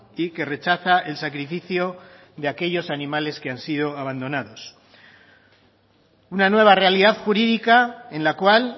y que rechaza el sacrificio de aquellos animales que han sido abandonados una nueva realidad jurídica en la cual